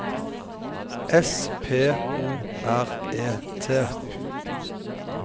S P O R E T